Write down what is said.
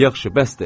Yaxşı, bəsdir.